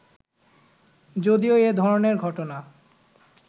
যদিও এ ধরনের ঘটনা